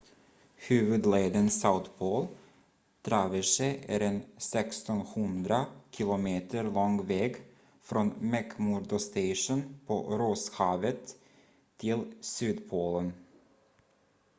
huvudleden south pole traverse är en 1600 km lång väg från mcmurdo station på rosshavet till sydpolen